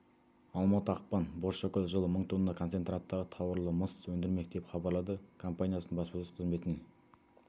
алматы ақпан бозшакөл жылы мың тонна концентраттағы тауарлы мыс өндірмек деп хабарлады компаниясының баспасөз қызметнен